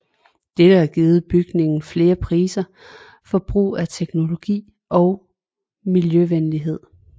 Dette har givet bygningen flere priser for brug af teknologi og miljøvenlighed